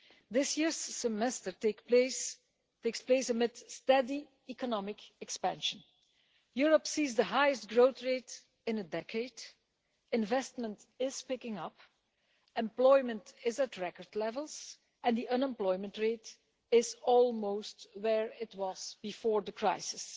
This year's Semester takes place amid steady economic expansion. Europe is seeing the highest growth rate in a decade, investment is picking up, employment is at record levels and the unemployment rate is almost where it was before the crisis.